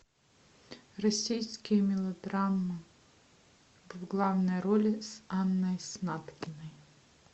российские мелодрамы в главной роли с анной снаткиной